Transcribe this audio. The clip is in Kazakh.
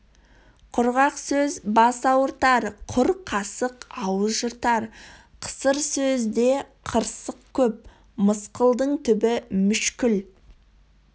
құрғақ сөз бас ауыртар құр қасық ауыз жыртар қысыр сөзде қырсық көп мысқылдың түбі мүшкіл